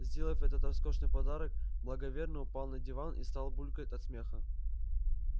сделав этот роскошный подарок благоверный упал на диван и стал булькать от смеха